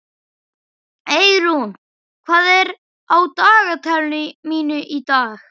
Eirún, hvað er á dagatalinu mínu í dag?